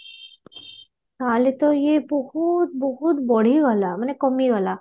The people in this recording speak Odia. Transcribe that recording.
ତାହାଲେ ତ ଇଏ ବହୁତ ବହୁତ ବଢିଗଲା ମାନେ କମିଗଲା